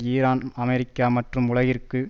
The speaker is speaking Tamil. ஈரான் அமெரிக்கா மற்றும் உலகிற்கு